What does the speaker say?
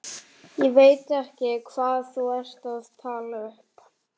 Ég veit ekki hvað þú ert að tala upp.